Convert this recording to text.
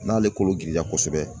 N'ale kolo giriya kosɛbɛ